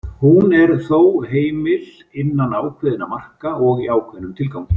Hún er þó heimil innan ákveðinna marka og í ákveðnum tilgangi.